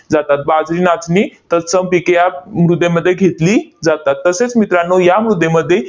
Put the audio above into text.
जातात, बाजरी, नाचणी, तत्सम पिके या मृदेमध्ये घेतली जातात. तसेच मित्रांनो, या मृदेमध्ये